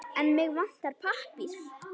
En mig vantar pappír.